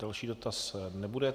Další dotaz nebude.